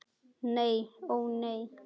Nei ó nei.